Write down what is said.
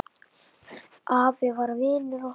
Afi var vinur okkar.